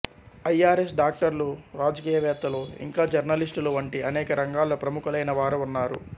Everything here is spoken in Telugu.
ఐ ఆర్ ఎస్ డాక్టర్లు రాజకీయవేత్తలు ఇంకా జర్నలిస్టులు వంటి అనేక రంగాల్లో ప్రముఖులైన వారు ఉన్నారు